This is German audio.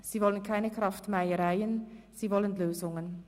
Sie wollen keine Kraftmeiereien, sie wollen Lösungen.